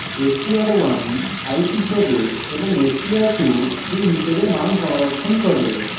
str1 ice হিসাবে এবং str2 cream হিসাবে মান সংরক্ষণ করে